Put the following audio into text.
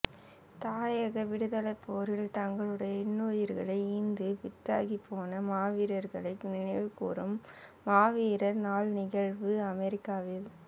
தாயக விடுதலைப்போரில் தங்களுடைய இன்னுயிர்களை ஈந்து வித்தாகிப்போன மாவீரர்களை நினைவுகூரும் மாவீரர் நாள் நிகழ்வு அமெரிக்காவில்